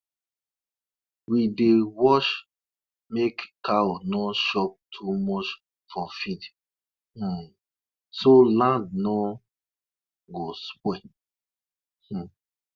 e get one time wey we hear about plantain tree wey bow down wen people wey dey fight for war dey return from war